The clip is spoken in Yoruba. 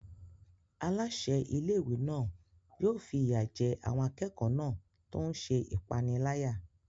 Aláṣẹ ilé-ìwé náà yóò fi ìyà jẹ àwọn akẹ́kọ̀ọ́ náà tó ń ṣe ìpániláyà.